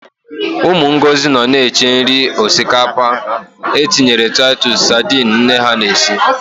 Ụmụ Ngozi nọ na-eche nri osikapa e tinyere Taịtus sadini nne ha na-esi.